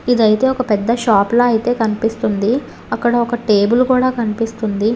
ఇదైతే ఒక పెద్ద షాప్ లా అయితే కనిపిస్తుంది. అక్కడ ఒక టేబుల్ కూడా కనిపిస్తుంది.